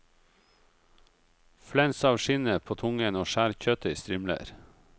Flens av skinnet på tungen og skjær kjøttet i strimler.